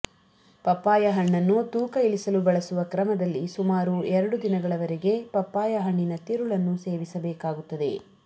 papaya ಹಣ್ಣನ್ನು ತೂಕ ಇಳಿಸಲು ಬಳಸುವ ಕ್ರಮದಲ್ಲಿ ಸುಮಾರು ಎರಡು ದಿನಗಳವರೆಗೆ ಪಪ್ಪಾಯ ಹಣ್ಣಿನ ತಿರುಳನ್ನು ಸೇವಿಸಬೇಕಾಗುತ್ತದೆ